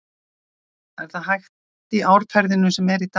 Er það hægt í árferðinu sem er í dag?